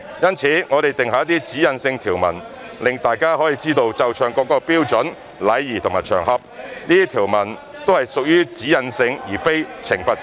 因此，我們定下一些指引性條文，讓大家知道奏唱國歌的標準、禮儀和場合，這些條文都是屬於"指引性"而非懲罰性。